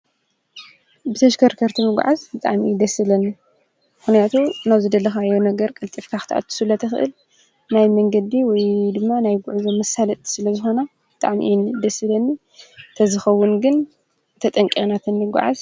ብተሽከርከርትምጕዓዝ ጻሚኢ ደስለኒ ኲንያቱ ኖዝደለኻ የ ነገር ቀልጢፍካኽትኣትሱለ ተኽእል ናይ መንገዲ ወይ ድማ ናይ ጕዕዞ ምሳለጥ ስለ ዝሆና ጣዕሚኢን ደሥለኒ ተዝኸውን ግን ተጠንቀናተኒ ጐዓዝ።